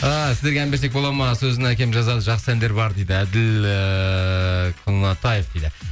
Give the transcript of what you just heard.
ыыы сіздерге ән берсек болады ма сөзін әкем жазады жақсы әндер бар дейді әділ ііі